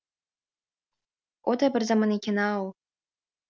о да бір заман екен ау